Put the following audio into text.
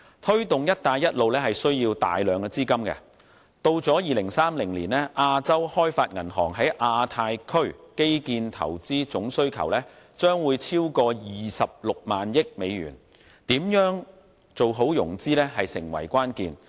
推動"一帶一路"需要大量資金，至2030年，亞洲開發銀行在亞太區基建投資總需求將會超過 260,000 億美元，如何做好融資成為關鍵。